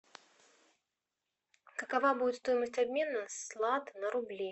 какова будет стоимость обмена с лат на рубли